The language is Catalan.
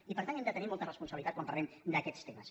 i per tant hem de tenir mol·ta responsabilitat quan parlem d’aquests temes